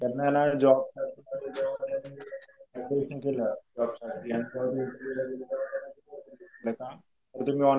त्यांना ना जॉबचं एकतर तुम्ही ऑनलाईन